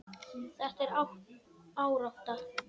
Þetta er árátta.